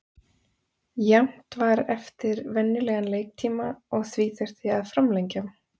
Jafnt var eftir venjulegan leiktíma og því þurfti að framlengja.